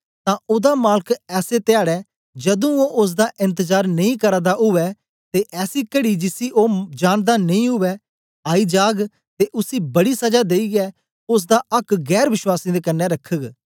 तां ओदा मालक ऐसे धयाडै जदूं ओ ओसदा एन्तजार नेई करा दा उवै ते ऐसी कड़ी जिसी ओ जानदा नेई उवै आई जाग ते उसी बड़ी सजा देईयै ओसदा आक्क गैर वश्वासीयें दे कन्ने रखग